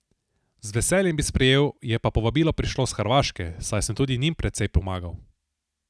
Z veseljem bi sprejel, je pa povabilo prišlo s Hrvaške, saj sem tudi njim precej pomagal.